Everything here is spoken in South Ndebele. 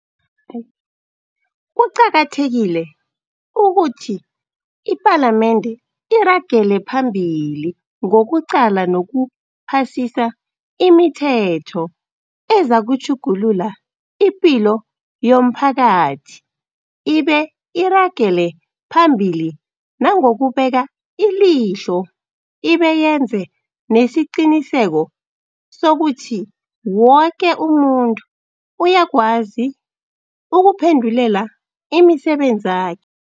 Kuqakathekile ukuthi iPalamende iragele phambili ngokuqala nokuphasisa imithetho ezakutjhugulula ipilo yomphakathi ibe iragele phambili nangokubeka ilihlo ibe yenze nesiqiniseko sokuthi woke umuntu uyakwazi ukuphendulela imisebenzakhe